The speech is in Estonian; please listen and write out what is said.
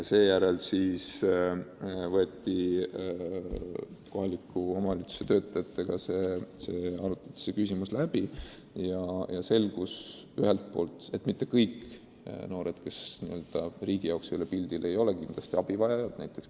Seejärel arutati olukord kohaliku omavalitsuse töötajatega läbi ja selgus ühelt poolt, et mitte kõik noored, kes riigi seisukohalt pole pildil, ei ole kindlasti abivajajad.